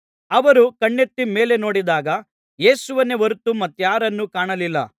ಅವರು ಕಣ್ಣೆತ್ತಿ ಮೇಲೆ ನೋಡಿದಾಗ ಯೇಸುವನ್ನೇ ಹೊರತು ಮತ್ತಾರನ್ನೂ ಕಾಣಲಿಲ್ಲ